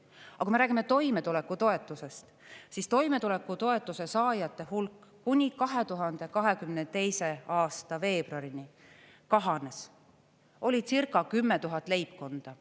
Aga kui me räägime toimetulekutoetusest, siis toimetulekutoetuse saajate hulk kuni 2022. aasta veebruarini kahanes, oli circa 10 000 leibkonda.